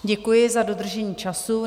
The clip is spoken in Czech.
Děkuji za dodržení času.